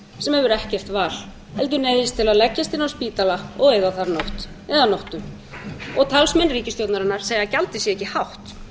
sem hefur ekkert val heldur neyðist til að leggjast inn á spítala og eyða þar nótt eða nóttum og talsmenn ríkisstjórnarinnar segja að gjaldið sé ekki hátt